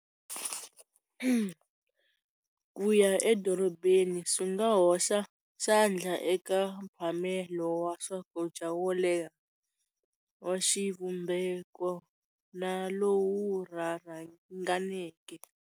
Ku ya edorobeni swi nga hoxa xandla eka mphamelo wa swakudya wo leha wa xivumbeko na lowu rhanganeke.